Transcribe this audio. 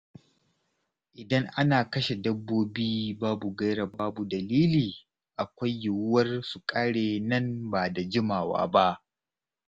Idan ana kashe dabbobi babu gaira babu dalili, akwai yiwuwar su ƙare nan ba da jimawa ba.